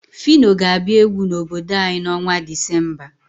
Fino ga-abịa egwu n'obodo anyi n'ọnwa Disemba.